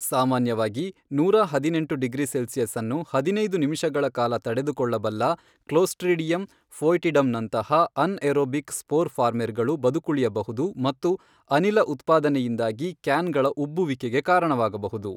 ಸಾಮಾನ್ಯವಾಗಿ ನೂರ ಹದಿನೆಂಟು ಡಿಗ್ರಿ ಸೆಲ್ಸಿಯಸ್ ಅನ್ನು ಹದಿನೈದು ನಿಮಿಷಗಳ ಕಾಲ ತಡೆದುಕೊಳ್ಳಬಲ್ಲ ಕ್ಲೋಸ್ಟ್ರಿಡಿಯಮ್ ಫೊಯ್ಟಿಡಮ್ ನಂತಹ ಅನ್ಏರೊಬಿಕ್ ಸ್ಪೋರ್ ಫಾರ್ಮೆರ್ ಗಳು ಬದುಕುಳಿಯಬಹುದು ಮತ್ತು ಅನಿಲ ಉತ್ಪಾದನೆಯಿಂದಾಗಿ ಕ್ಯಾನ್ ಗಳ ಉಬ್ಬುವಿಕೆಗೆ ಕಾರಣವಾಗಬಹುದು.